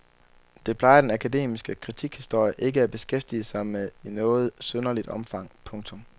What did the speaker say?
Det plejer den akademiske kritikhistorie ikke at beskæftige sig med i noget synderligt omfang. punktum